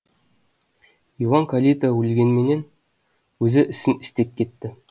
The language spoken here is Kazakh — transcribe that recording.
иван калита өлгенменен өзі ісін істеп кетті